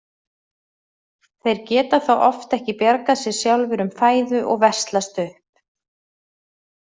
Þeir geta þá oft ekki bjargað sér sjálfir um fæðu og veslast upp.